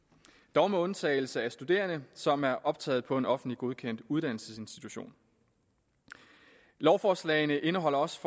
dog med undtagelse af studerende som er optaget på en offentligt godkendt uddannelsesinstitution lovforslagene indeholder også